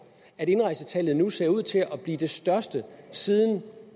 at indrejsetallet nu ser ud til at blive det største siden